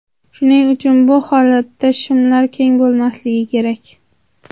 Shuning uchun bu holatda shimlar keng bo‘lmasligi kerak.